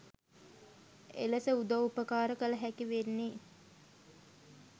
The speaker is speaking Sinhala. එලෙස උදව් උපකාර කළහැකි වෙන්නේ.